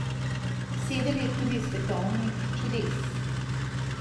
Sedem je tudi svetovnih čudes.